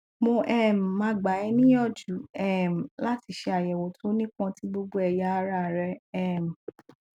mo um ma gba ẹ niyanju um lati ṣe ayẹwo to nipọn ti gbogbo ẹya ara rẹ um